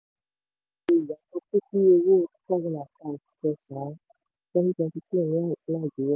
wo ìyàtọ̀ pípiń owó two thousand and five -kẹsàn-án twenty twenty two ní nàìjíríà.